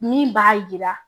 Min b'a yira